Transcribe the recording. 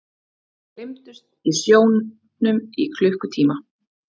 Gleymdust í sjónum í klukkutíma